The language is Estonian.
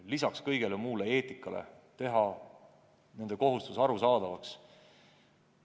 Lisaks kogu muule eetikale peab neile nende kohustuse arusaadavaks tegema.